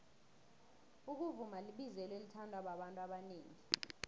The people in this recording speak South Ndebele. ukuvuma libizelo elithandwa babantu abanengi